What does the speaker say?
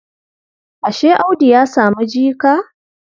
Ashe Audu ya samu jika?